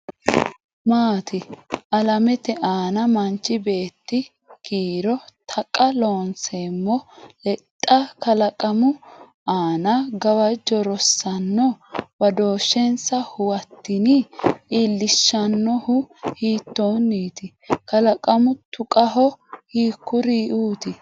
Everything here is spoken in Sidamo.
maati? Alamete aana manchi beetti kiiro Taqa Loonseemmo lexxa kalaqamu aana gawajjo Rosaano, badooshshensa huwattini? iillishshannohu hiittoonniiti? Kalaqamu tuqaho hiikkuriuuti?